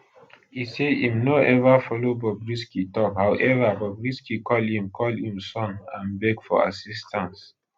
e say im no ever follow bobrisky tok however bobrisky call im call im son and beg for assistance